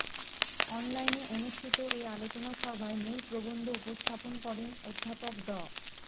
অনলাইনে অনুষ্ঠিত এ আলোচনা সভায় মূল প্রবন্ধ উপস্থাপন করেন অধ্যাপক ড